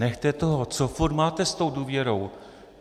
Nechte toho, co furt máte s tou důvěrou?